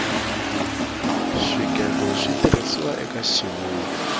swigego switirhisiwa eka xivulwa